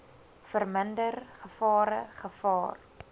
verminder gevare gevaar